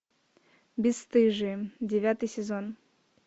бесстыжие девятый сезон